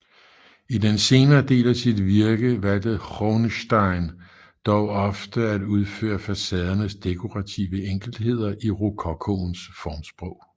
I den senere del af sit virke valgte Groenesteyn dog ofte at udføre facadernes dekorative enkeltheder i rokokoens formsprog